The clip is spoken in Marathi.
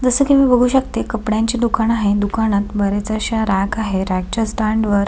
जस की मी बघू शकते कपड्यांचे दुकान आहे दुकानात बरेच अश्या रॅक आहे रॅक च्या स्टँड वर--